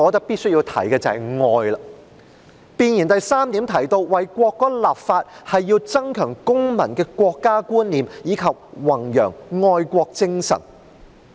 弁言的第3點提到，為國歌立法是要增強公民的國家觀念，以及弘揚愛國精神。